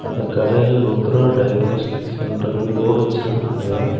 அந்தக் கடையில Rudra diagnostics centre board வச்சிருக்காங்க.